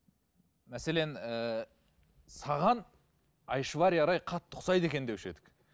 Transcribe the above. мәселен ііі саған айшвария рай қатты ұқсайды екен деуші едік